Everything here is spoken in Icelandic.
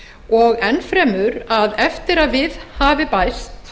og enn fremur að eftir að við hafi bæst